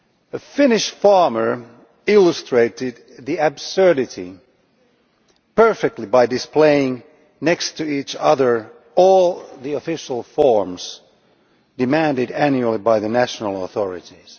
A Finnish farmer illustrated the absurdity perfectly by displaying next to each other all of the official forms demanded annually by the national authorities.